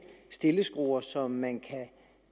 stilleskruer som man kan